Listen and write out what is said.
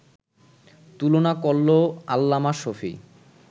তুলনা করলো আল্লামা শফী